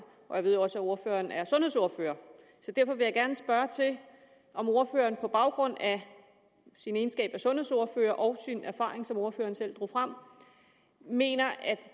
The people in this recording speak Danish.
og jeg ved også at ordføreren er sundhedsordfører så derfor vil jeg gerne spørge om ordføreren på baggrund af sin egenskab af sundhedsordfører og sin erfaring som ordføreren selv drog frem mener at